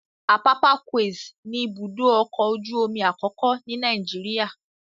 Apapa Quays ni ibùdó ọkọ̀ ojú omi àkọ́kọ́ ni Nàìjíríà.